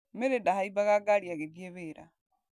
Mary ndahaimbaga ngari agĩthiĩ wĩra.